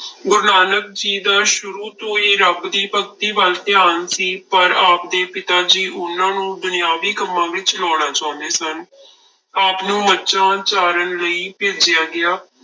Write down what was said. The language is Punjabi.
ਗੁਰੂ ਨਾਨਕ ਜੀ ਦਾ ਸ਼ੁਰੂ ਤੋਂ ਹੀ ਰੱਬ ਦੀ ਭਗਤੀ ਵੱਲ ਧਿਆਾਨ ਸੀ ਪਰ ਆਪਦੇ ਪਿਤਾ ਜੀ ਉਹਨਾਂ ਨੂੰ ਦੁਨਿਆਵੀ ਕੰਮਾਂ ਵਿੱਚ ਲਾਉਣਾ ਚਾਹੁੰਦੇ ਸਨ ਆਪ ਨੂੰ ਮੱਝਾਂ ਚਾਰਨ ਲਈ ਭੇਜਿਆ ਗਿਆ।